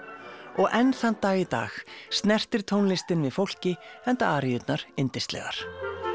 og enn þann dag í dag snertir tónlistin við fólki enda yndislegar